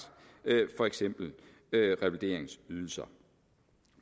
for eksempel revalideringsydelser